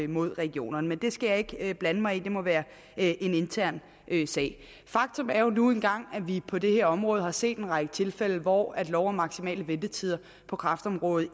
mod regionerne men det skal jeg ikke blande mig i det må være en intern sag faktum er jo nu engang at vi på det her område har set en række tilfælde hvor loven om maksimale ventetider på kræftområdet